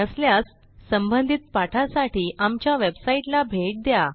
नसल्यास संबंधित पाठासाठी आमच्या वेबसाईटला भेट द्या